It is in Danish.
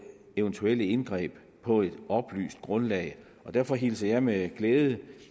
eventuelle indgreb på et oplyst grundlag derfor hilser jeg med glæde